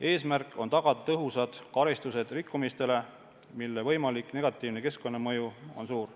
Eesmärk on tagada tõhusad karistused rikkumiste eest, mille võimalik negatiivne keskkonnamõju on suur.